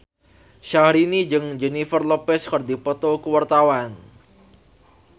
Syahrini jeung Jennifer Lopez keur dipoto ku wartawan